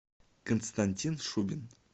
константин шубин